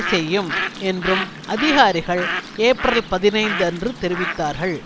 செய்யும் என்றும் அதிகாரிகள் ஏப்ரல் பதினைந்து அன்று தெரிவித்தார்கள்